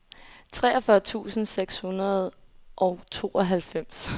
treogfyrre tusind seks hundrede og tooghalvfems